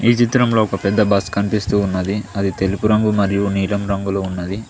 చిత్రంలో ఒక పెద్ద బస్ కనిపిస్తూ ఉన్నది అది తెలుపు రంగు మరియు నీలం రంగులో ఉన్నది.